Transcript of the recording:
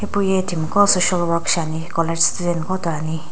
hipou yae timi qo social work shiane college student toane.